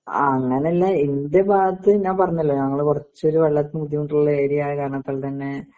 ആ അങ്ങനില്ല എൻ്റെ ഭാഗത്ത് ഞാൻ പറഞ്ഞല്ലോ ഞങ്ങള് കൊറച്ചൊരു വെള്ളത്തിന് ബുദ്ധിമുട്ടുള്ള ഏരിയ ആയ കാരണത്താൽത്തന്നെ